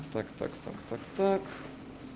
так так так так так